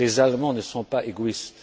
Les Allemands ne sont pas égoïstes.